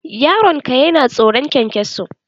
Yaron ka yana tsoron kyankyaso?